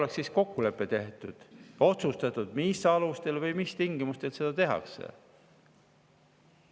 Seal oleks kokkulepe tehtud, otsustatud, mis alustel või mis tingimustel.